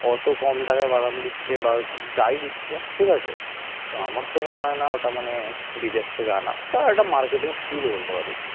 অত কম টাকায় বাদাম দিচ্ছে বা যাই দিচ্ছে ঠিক আছে তো আমার তো মনে হয় না ওটা মানে বিদেশ থেকে আনা বা marketing skill বলতে পারিস